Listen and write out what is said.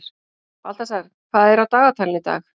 Baltasar, hvað er á dagatalinu í dag?